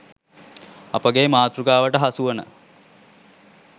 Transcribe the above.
අපගේ මාතෘකාවට හසුවන